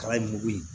Kala in mugu in